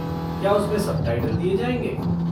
क्या उसमें सबटाइटल दिए जाएँगे?